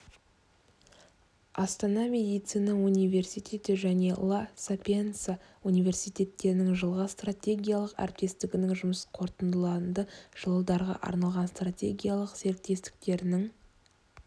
астана медицина университеті және ла сапиенца университеттерінің жылға стратегиялық әріптестігінің жұмысықорытындыланды жылдарға арналған стратегиялық серіктестіктерінің